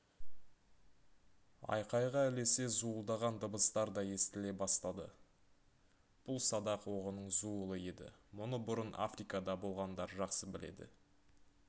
айқайға ілесе зуылдаған дыбыстар да естіле бастады бұл садақ оғының зуылы еді мұны бұрын африкада болғандар жақсы біледі